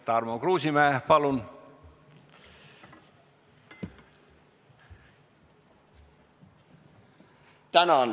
Tarmo Kruusimäe, palun!